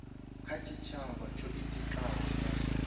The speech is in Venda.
kha tshitshavha tsho itikaho nga